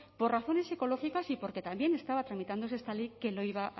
por razones ecológicas y porque también estaba tramitándose esta ley que lo iba